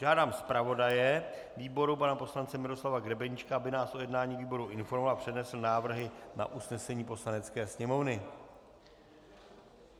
Žádám zpravodaje výboru pana poslance Miroslava Grebeníčka, aby nás o jednání výboru informoval a přednesl návrhy na usnesení Poslanecké sněmovny.